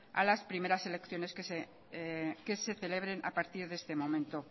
a las primeras elecciones que se celebren a partir de este momento